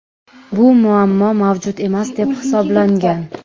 Bu muammo mavjud emas deb hisoblangan.